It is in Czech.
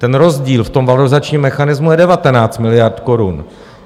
Ten rozdíl v tom valorizačním mechanismu je 19 miliard korun.